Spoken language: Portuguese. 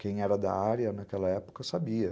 Quem era da área naquela época sabia.